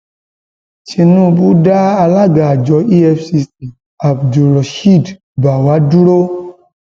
tinubu dá alága àjọ efcc abdulrosheed báfá dúró